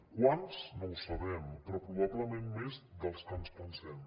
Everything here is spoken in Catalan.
quants no ho sabem però probablement més dels que ens pensem